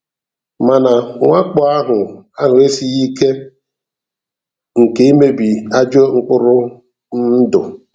Mana mwakpò ahụ ahụ esighi ike nke imebi ajọ mkpụrụ um ndụ.